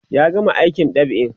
ya gama aikin dab'in